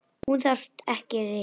Hún þarf ekki rýting.